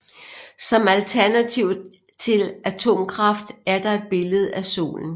Som alternativ til atomkraft er der et billede af solen